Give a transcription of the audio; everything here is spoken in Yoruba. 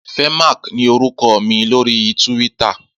Fèmák ni órúkò mi lóri túwìtá